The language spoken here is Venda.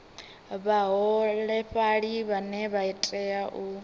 vhaholefhali vhane vha tea u